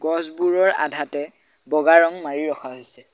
গছবোৰৰ আধাতে বগা ৰং মাৰি ৰখা হৈছে।